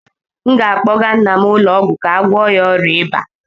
m ga-akpọga nna m ụlọ ọgwụ ka a gwọọ ya ọrịa ịba